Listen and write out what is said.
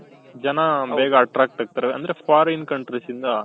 ಜನ ಬೇಗ attract ಆಗ್ತಾರೆ ಅಂದ್ರೆ foreign countries ಇಂದ